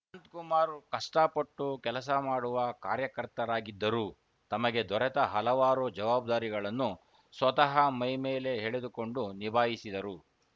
ಅನಂತಕುಮಾರ್‌ ಕಷ್ಟಪಟ್ಟು ಕೆಲಸ ಮಾಡುವ ಕಾರ್ಯಕರ್ತನಾಗಿದ್ದರು ತಮಗೆ ದೊರೆತ ಹಲವಾರು ಜವಾಬ್ದಾರಿಗಳನ್ನು ಸ್ವತಃ ಮೈಮೇಲೆ ಎಳೆದುಕೊಂಡು ನಿಭಾಯಿಸಿದರು